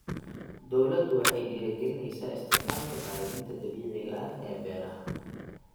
Dawladdu waxay dhiirigelinaysaa isticmaalka bacriminta dabiiciga ah ee beeraha.